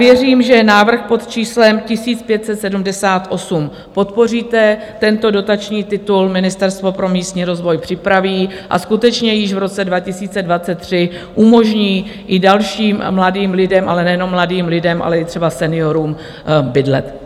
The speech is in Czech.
Věřím, že návrh pod číslem 1578 podpoříte, tento dotační titul Ministerstvo pro místní rozvoj připraví a skutečně již v roce 2023 umožní i dalším mladým lidem, ale nejenom mladým lidem, ale i třeba seniorům bydlet.